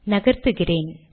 நகர்த்துகிறேன்